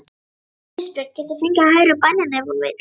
Ísbjörg getur fengið að heyra bænina ef hún vill.